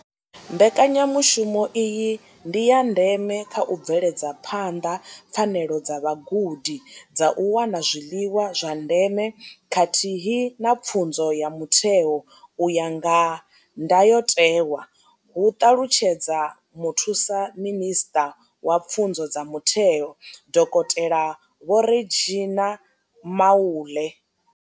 Mbekanyamushumo iyi ndi ya ndeme kha u bveledza phanḓa pfanelo dza vhagudi dza u wana zwiḽiwa zwa ndeme khathihi na pfunzo ya mutheo u ya nga ndayotewa, hu ṱalutshedza muthusaminisṱa wa pfunzo dza mutheo, dokotela Vho Reginah Mhaule.